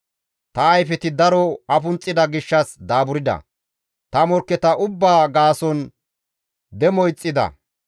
Ta ayfeti daro afunxxida gishshas daaburda; ta morkketa ubbaa gaasonkka demo ixxida.